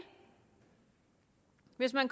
hvis man